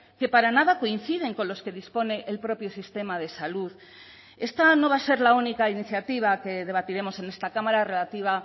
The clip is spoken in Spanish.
que para nada coinciden con los que dispone el propio sistema de salud esta no va a ser la única iniciativa que debatiremos en esta cámara relativa